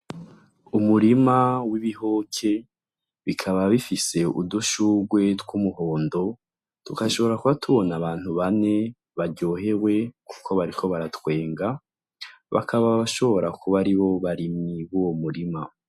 Umurima w'ibihoke, bikaba bifise udushurwe tw'umuhondo, tugashobora kuba tubona abantu bane baryohewe kuko bariko baratwenga. Bakaba bashobora kuba aribo barimyi b'uwo murima.